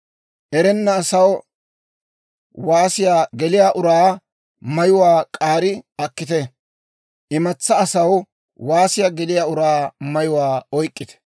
Erenna asaw waasiyaa geliyaa uraa mayuwaa k'aari akkite; imatsaa asaw waasiyaa geliyaa uraa mayuwaa oyk'k'ite.